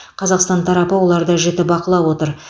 қазақстан тарапы оларды жіті бақылап отыр